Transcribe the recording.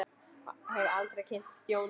Og hefði aldrei kynnst Jóru.